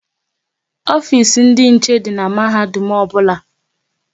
Ofisi ndị nche dị n'mahadum ọbụla